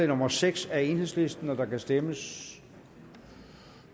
nummer seks af enhedslisten og der kan stemmes